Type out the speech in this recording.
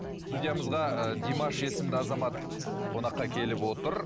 студиямызға ыыы димаш есімді азамат қонаққа келіп отыр